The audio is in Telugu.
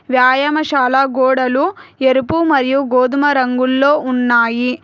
వ్యాయామశాల గోడలు ఎరుపు మరియు గోధుమ రంగుల్లో ఉన్నాయి.